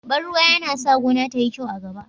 Ban ruwa yana sa gona tayi kyau a gaba